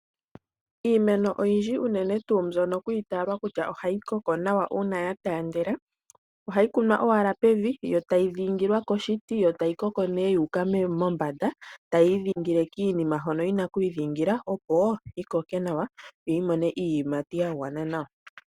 Iimeno oyindji unene tuu mbyoka kwa itaalwa kutya ohayi koko nawa uuna ya tandela, ohayi kunwa owala pevi yo tayi dhingilwa koshiti, yo tayi koko nee tu uka mombanda. Tayi idhingile kiinima hono tina oku idhingila opo ti koke nawa, yo oyi mone iiyimati ya gwana nawa.